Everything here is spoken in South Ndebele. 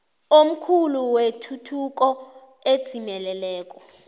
omkhulu wetuthuko edzimeleleko